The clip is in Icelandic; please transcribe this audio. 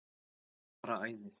Bara æði.